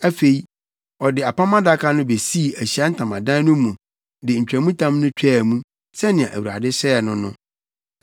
Afei, ɔde Apam Adaka no besii Ahyiae Ntamadan no mu de ntwamtam no twaa mu, sɛnea Awurade hyɛɛ no no.